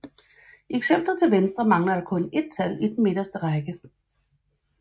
I eksemplet til venstre mangler der kun et tal i den midterste række